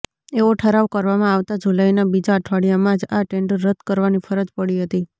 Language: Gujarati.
એવો ઠરાવ કરવામાં આવતા જુલાઈના બીજા અઠવાડિયામાં જ આ ટેન્ડર રદ્દ કરવાની ફરજ પડી હતી